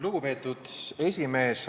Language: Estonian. Lugupeetud esimees!